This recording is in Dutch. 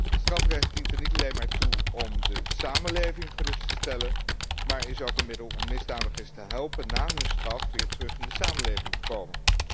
Het strafrecht dient er niet alleen maar toe om de samenleving gerust te stellen, maar is ook een middel om misdadigers te helpen na hun straf weer terug in de samenleving te komen.